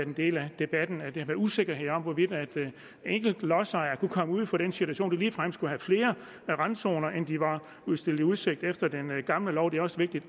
en del af debatten har været usikkerhed om hvorvidt enkelte lodsejere ligefrem kunne komme ud for den situation ligefrem skulle have flere randzoner end de var stillet i udsigt efter den gamle lov det er også vigtigt